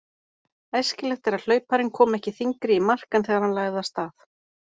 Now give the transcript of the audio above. Æskilegt er að hlauparinn komi ekki þyngri í mark en þegar hann lagði af stað.